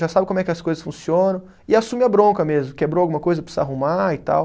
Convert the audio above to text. Já sabe como é que as coisas funcionam e assume a bronca mesmo, quebrou alguma coisa, precisa arrumar e tal.